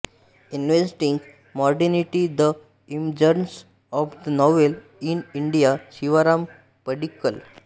investing modernity the emergence of the novel in India Shivaram Padikkal